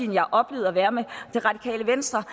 har oplevet at være med det radikale venstre